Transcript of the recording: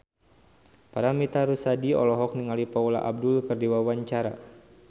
Paramitha Rusady olohok ningali Paula Abdul keur diwawancara